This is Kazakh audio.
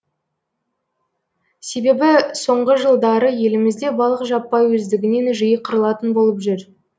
себебі соңғы жылдары елімізде балық жаппай өздігінен жиі қырылатын болып жүр